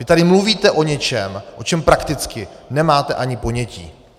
Vy tady mluvíte o něčem, o čem prakticky nemáte ani ponětí.